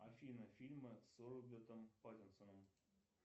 афина фильмы с робертом паттинсоном